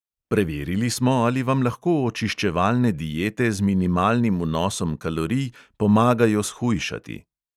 Preverili smo, ali vam lahko očiščevalne diete z minimalnim vnosom kalorij pomagajo shujšati.